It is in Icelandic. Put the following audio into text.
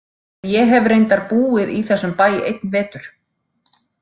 En ég hef reyndar búið í þessum bæ einn vetur.